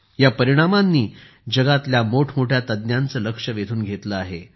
या परिणामांनी जगातल्यामोठमोठ्या तज्ञांचे लक्ष वेधून घेतले आहे